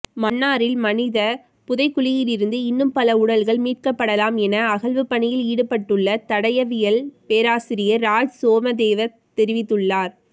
மன்னாரில் மனித புதைகுழியிலிருந்து இன்னும் பல உடல்கள் மீட்கப்படலாம் என அகழ்வுபணியில் ஈடுபட்டுள்ள தடயவியல் பேராசிரியர் ராஜ்சோமதேவ தெரிவித்துள்ளார்